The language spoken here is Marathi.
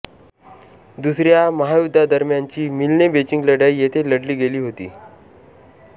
दुसऱ्या महायुद्धादरम्यानची मिल्ने बेची लढाई येथे लढली गेली होती